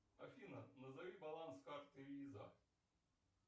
афина назови баланс карты виза